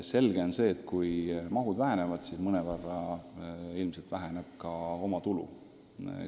Selge on, et kui toetused vähenevad, siis mõnevõrra ilmselt väheneb ka omatulu.